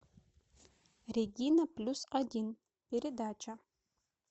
регина плюс один передача